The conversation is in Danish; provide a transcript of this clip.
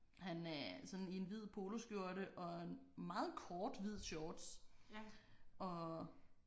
Han er sådan i en hvid poloskjorte og en meget kort hvid shorts og